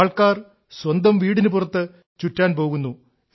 ആൾക്കാർ സ്വന്തം വീടിനു പുറത്ത് ചുറ്റാൻ പോകുന്നു